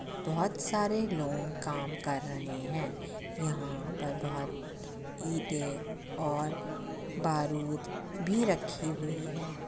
बोहोत सारे लोंग काम कर रहें हैं। यहाँ पर बहोत ईटे और बारूद भी रखी हुई है।